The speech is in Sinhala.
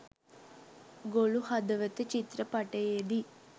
ගොළු හදවත චිත්‍රපටයේදී